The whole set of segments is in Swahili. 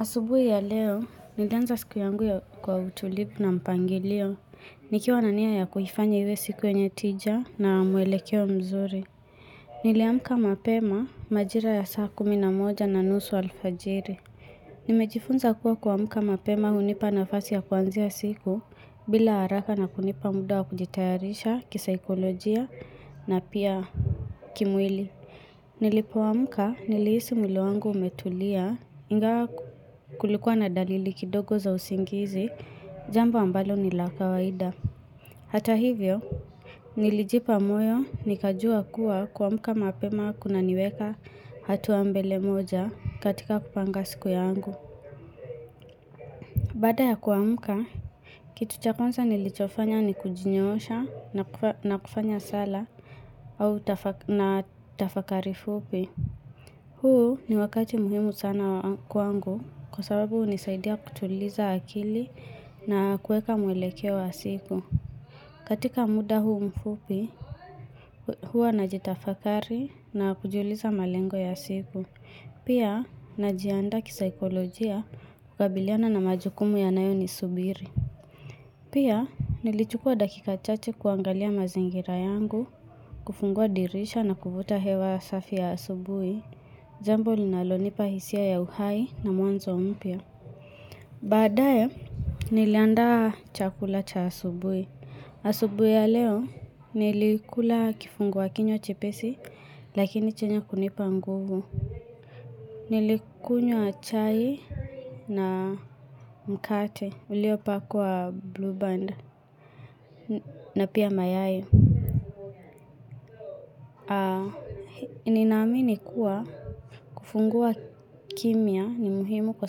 Asubui ya leo, nilianza siku yangu ya kwa utulivu na mpangilio. Nikiwa na nia ya kuifanya iwe siku yenye tija na mwelekeo mzuri. Niliamka mapema majira ya saa kumi na moja na nusu alfajiri. Nimejifunza kuwa kuamka mapema hunipa nafasi ya kuanzia siku bila haraka na kunipa muda wa kujitayarisha kisaikolojia na pia kimwili. Nilipoamka niliisi mwili wangu umetulia ingawa kulikuwa na dalili kidogo za usingizi, jambo ambalo ni la kawaida. Hata hivyo, nilijipa moyo nikajua kuwa kuamka mapema kuna niweka hatua mbele moja katika kupanga siku yangu. Baada ya kuamka, kitu cha kwanza nilichofanya ni kujinyoosha na kufanya sala na tafakari fupi. Huu ni wakati muhimu sana kwangu kwa sababu hunisaidia kutuliza akili na kueka mwelekeo wa siku. Katika muda huu mfupi, hua najitafakari na kujiuliza malengo ya siku. Pia, najiandaa kisaikolojia kukabiliana na majukumu yanayo nisubiri. Pia, nilichukua dakika chache kuangalia mazingira yangu, kufungua dirisha na kuvuta hewa safi ya asubui. Jambo linalonipa hisia ya uhai na mwanzo mpya. Baadae, niliandaa chakula cha asubui. Asubui ya leo, nilikula kifungua kinywa chepesi, lakini chenye kunipa nguvu. Nilikunywa chai na mkate, ulio pakwa blue band, na pia mayai. Ni naamini kuwa kufungua kimya ni muhimu kwa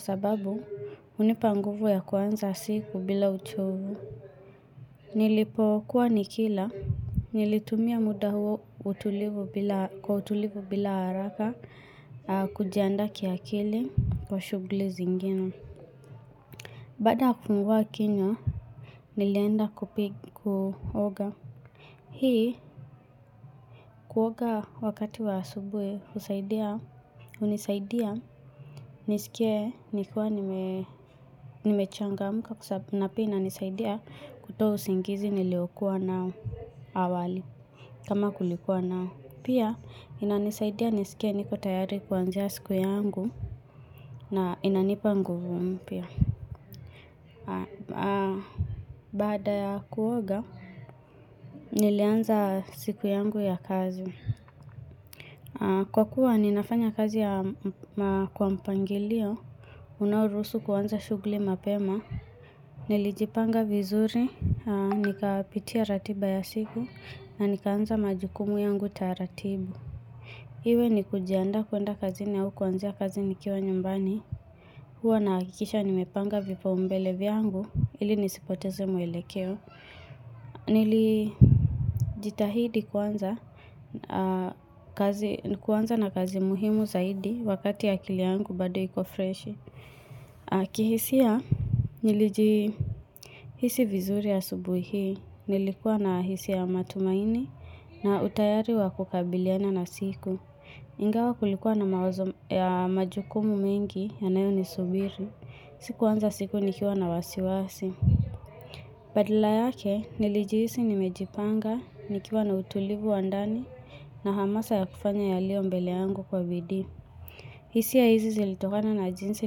sababu hunipa nguvu ya kwanza siku bila uchovu Nilipo kuwa nikila nilitumia muda huo utulivu bila kwa utulivu bila haraka kujiandaa kiakili wa shugli zingine Baada ya kufungua kinywa nilienda kupiga kuoga Hii kuoga wakati wa asubui husaidia, hunisaidia nisikie nikiwa nimechangamka kwa sababu pia ina nisaidia kutoa usingizi nilio kuwa nao awali kama kulikuwa nao. Pia inanisaidia nisikie niko tayari kuanzia siku yangu na inanipa nguvu mpya. Baada ya kuoga nilianza siku yangu ya kazi. Kwa kuwa ninafanya kazi ya kwa mpangilio, unaoruhusu kuanza shugli mapema, nilijipanga vizuri, nikapitia ratiba ya siku, na nikaanza majukumu yangu taratibu. Iwe ni kujiandaa kuenda kazini au kuanzia kazi ni kiwa nyumbani Huwa nahakikisha nimepanga vipaumbele vyangu ili nisipoteze mwelekeo Nili jitahidi kuanza na kazi muhimu zaidi wakati akili yangu bado iko freshi kihisia nilijihisi vizuri asubuhi hii nilikuwa na hisia ya matumaini na utayari wa kukabiliana na siku Ingawa kulikuwa na majukumu mengi yanayo ni subiri Sikuanza siku nikiwa na wasiwasi Badala yake nilijihisi ni mejipanga nikiwa na utulivu wa ndani na hamasa ya kufanya yaliombele yangu kwa bidii hisia hizi zilitokana na jinsi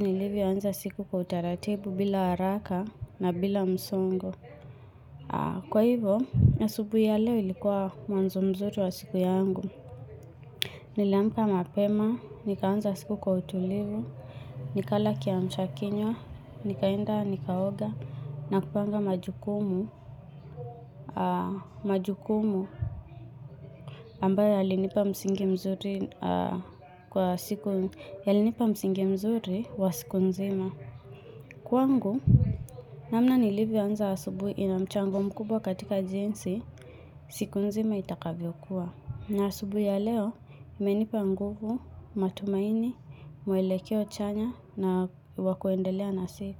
nilivyoanza siku kwa utaratibu bila haraka na bila msongo Kwa hivo asubui ya leo ilikuwa mwanzo mzuri wa siku yangu Niliamka mapema, nikaanza siku kwa utulivu, nikala kiamsha kinywa, nikaenda, nikaoga, na kupanga majukumu, majukumu ambayo yalinipa msingi mzuri yalinipa msingi mzuri wa siku nzima. Kwangu, namna nilivyoanza asubui inamchango mkubwa katika jinsi, siku nzima itakavyo kuwa. Na asubui ya leo, imenipa nguvu, matumaini, mwelekeo chanya na wakuendelea na siku.